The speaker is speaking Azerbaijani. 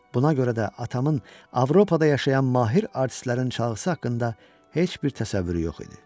Buna görə də atamın Avropada yaşayan mahir artistlərin çalğısı haqqında heç bir təsəvvürü yox idi.